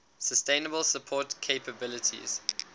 sustainable support capabilities